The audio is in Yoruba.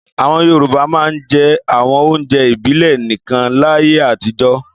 Àwọn Yorùbá máa ń jẹ àwọn oúnjẹ ìbílẹ̀ nìkan láyé àtijọ́.